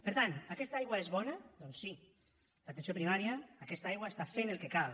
per tant aquesta aigua és bona doncs sí l’atenció primària aquesta aigua està fent el que cal